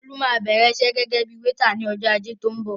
Tolú máa bẹ̀rẹ̀ iṣẹ́ gẹ́gẹ́ bíi wéétà ní ọjọ́ Ajé tó ń bọ̀.